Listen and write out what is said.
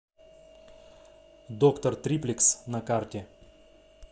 доктор триплекс на карте